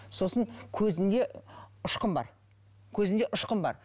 сосын көзінде ұшқын бар көзінде ұшқын бар